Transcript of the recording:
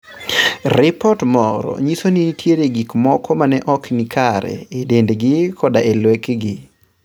Ripot moro nyiso ni nitie gik moko ma ne ok ni kare e dendgi koda e lekegi.